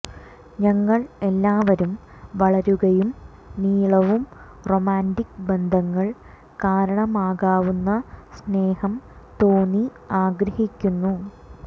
ഞങ്ങൾ എല്ലാവരും വളരുകയും നീളവും റൊമാന്റിക് ബന്ധങ്ങൾ കാരണമാകാവുന്ന സ്നേഹം തോന്നി ആഗ്രഹിക്കുന്നു